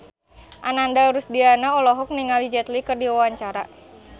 Ananda Rusdiana olohok ningali Jet Li keur diwawancara